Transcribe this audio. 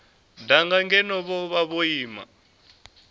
danga ngeno vhone vho ima